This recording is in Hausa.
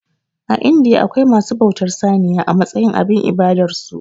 A indiya akwai masu bautar saniya a matsayin abin ibadar su